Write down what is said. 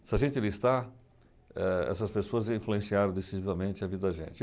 Se a gente listar, eh essas pessoas influenciaram decisivamente a vida da gente.